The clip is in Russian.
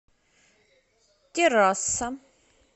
террасса